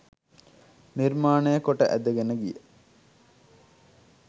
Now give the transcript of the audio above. නිර්මාණය කොට ඇදගෙන ගිය